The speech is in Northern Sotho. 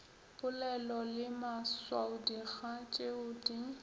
polelo le maswaodikga tšeo di